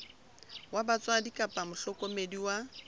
wa batswadi kapa mohlokomedi wa